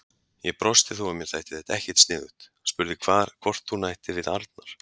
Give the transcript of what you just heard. Ég brosti þó að mér þætti þetta ekkert sniðugt, spurði hvort hún ætti við Arnar.